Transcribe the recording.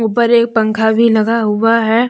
ऊपर एक पंखा भी लगा हुआ हैं ।